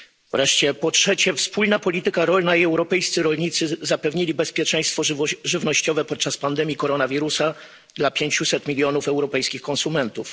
Wreszcie po trzecie, wspólna polityka rolna i europejscy rolnicy zapewnili bezpieczeństwo żywnościowe podczas pandemii koronawirusa dla pięciuset milionów europejskich konsumentów.